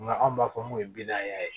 Nka anw b'a fɔ mun ye bin a ye